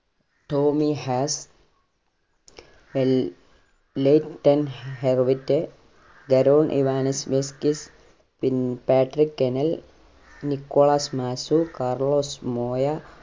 Tomy Haas, Lleyton Hewitt, Goran ഇവനിസ് മിസ്റ്റിസ് പിൻ പാട്രിക് കെനൽ, നിക്കോളാസ് മാസൂ, കാർലോസ് മോയ